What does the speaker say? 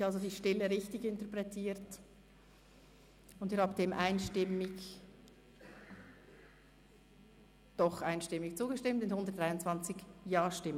Ich habe also die Stille richtig interpretiert, und Sie haben einstimmig zugestimmt mit 123 Ja-Stimmen.